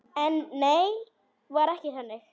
En nei, var ekki þannig.